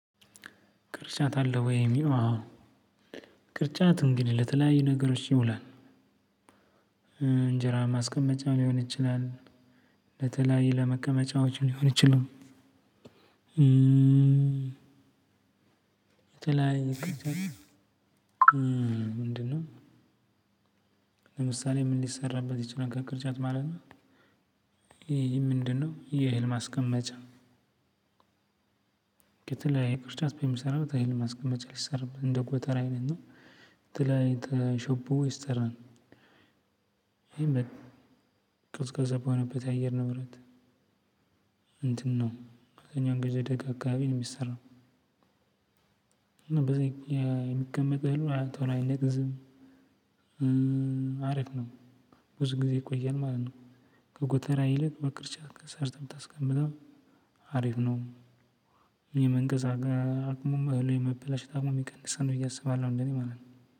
ቅርጫት አለ ወይ? አዎ ቅርጫት እንግዲህ ለተለያዩ ነገሮች ይውላል። እንጀራ ማስቀመጫ ሊሆን ይችላል። ለተለያዩ ለመቀመጫዎች ሊሆን ይችላል። እም ምንድነው ለምሳሌ ምን ሊሰራበት ይችላል ከቅርጫት ማለት ነው ይሄ ምንድነው የህል ማስቀመጫ ከተለያየ ቅርጫት በምን ይሰራል? እህል ማስቀመጫ ልሰራበት እንደ ጎተራ አይነት የተለያየ ተሸቦ ይሰራል። ቀዝቃዛማ የሆነበት አየር ንብረት እንትን ነው አብዛኛውን ጊዜ ደጋ አካባቢ ነው የሚሰራው። እና በዚህ የሚቀመጥ እህል ቶሎ አይነቅዝም አሪፍ ነው። ብዙ ጊዜ ይቆያል ማለት ነው። ከጎተራ ይልቅ በቅርጫት ሰርተህ ብታስቀምጣው አሪፍ ነው። የመንቀዝ ደግሞም እህሉ የመበላሸት አቅሙም ይቀንሳል ብዬ አስባለሁ እንደ እኔ ማለት ነው።